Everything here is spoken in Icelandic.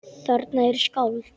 Þarna eru skáld.